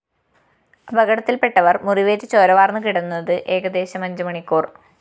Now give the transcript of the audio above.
അപകടത്തില്‍പ്പെട്ടവര്‍ മുറിവേറ്റ് ചോര വാര്‍ന്നുകിടന്നത് ഏകദേശം അഞ്ച് മണിക്കൂര്‍